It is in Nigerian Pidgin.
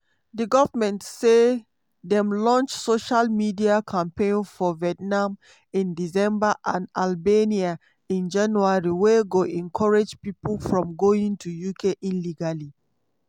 di goment say dem launch social media campaign for vietnam in december and albania in january wey go discourage pipo from going to uk illegally.